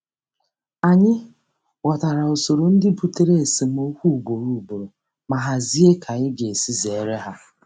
Anyị ghọtara usoro ndị butere esemokwu ugboro ugboro ma hazie ka anyị ga-esi zere ha.